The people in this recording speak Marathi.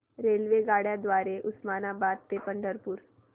रेल्वेगाड्यां द्वारे उस्मानाबाद ते पंढरपूर